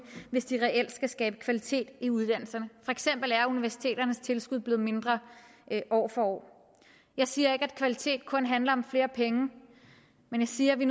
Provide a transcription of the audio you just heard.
hvis de reelt skal skabe kvalitet i uddannelserne for eksempel er universiteternes tilskud blevet mindre år for år jeg siger ikke at kvalitet kun handler om flere penge men jeg siger at vi